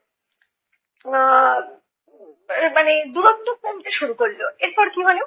এর মানে দূরত্ব কমতে শুরু করলো। এরপর কী হলো,